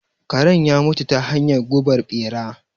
Karen ya mutu ta hanyar gubar ɓera.